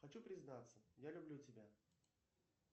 хочу признаться я люблю тебя